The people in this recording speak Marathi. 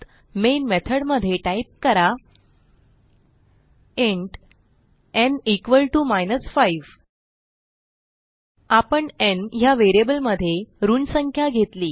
मेन मेथॉड मध्ये टाईप करा इंट न् इक्वॉल टीओ माइनस 5 आपण न् ह्या व्हेरिएबल मध्ये ऋण संख्या घेतली